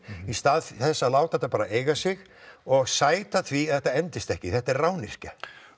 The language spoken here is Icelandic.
í stað þess að láta þetta bara eiga sig og sæta því að þetta endist ekki þetta er rányrkja